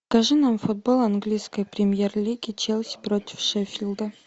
покажи нам футбол английской премьер лиги челси против шеффилда